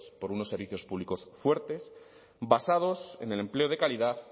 por unos servicios públicos fuertes basados en el empleo de calidad